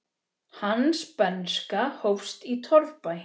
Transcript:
Hans bernska hófst í torfbæ.